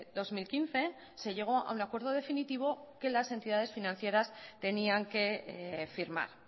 dos mil quince se llegó a un acuerdo definitivo que las entidades financieras tenían que firmar